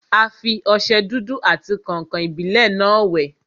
A fi ọsẹ dúdú àti kàǹkàn-ìbílẹ́ náà wẹ̀.